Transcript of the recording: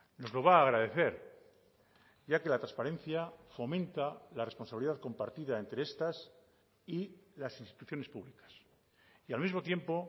nos lo va a agradecer ya que la transparencia fomenta la responsabilidad compartida entre estas y las instituciones públicas y al mismo tiempo